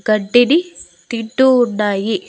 గడ్డిని తింటూ ఉన్నాయి.